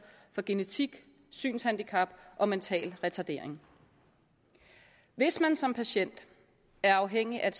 for genetik synshandicap og mental retardering hvis man som patient er afhængig af